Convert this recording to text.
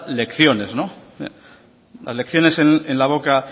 lecciones las lecciones en la boca